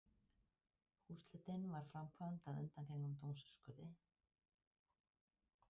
Húsleitin var framkvæmd að undangengnum dómsúrskurði